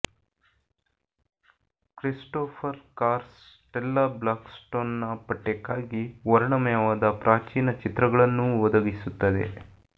Christopher Carr Stella ಬ್ಲಾಕ್ಸ್ಟೋನ್ನ ಪಠ್ಯಕ್ಕಾಗಿ ವರ್ಣಮಯವಾದ ಪ್ರಾಚೀನ ಚಿತ್ರಗಳನ್ನೂ ಒದಗಿಸುತ್ತದೆ